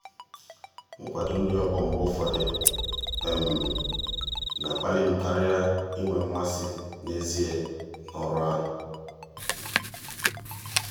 nkwado ndị ọgbọ m mgbe ụfọdụ na-akpali m karịa inwe mmasị n'ezie n'ọrụ ahụ.